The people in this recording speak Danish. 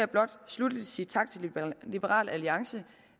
blot sluttelig sige tak til liberal alliance